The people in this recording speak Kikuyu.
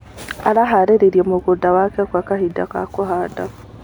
Araharĩirie mũgũnda wake gwa kahinda ga kũhanda.